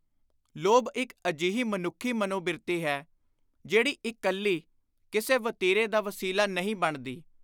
” ਲੋਭ ਇਕ ਅਜਿਹੀ ਮਨੁੱਖੀ ਮਨੋਬਿਰਤੀ ਹੈ ਜਿਹੜੀ ਇਕੱਲੀ ਕਿਸੇ ਵਤੀਰੇ ਦਾ ਵਸੀਲਾ ਨਹੀਂ ਬਣਦੀ।